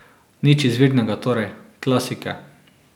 Nič izvirnega torej, klasike.